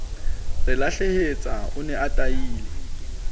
ralehlatsa o ne a tahilwe